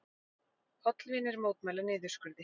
Hollvinir mótmæla niðurskurði